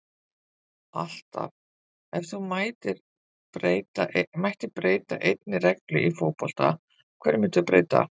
alltaf Ef þú mættir breyta einni reglu í fótbolta, hverju myndir þú breyta?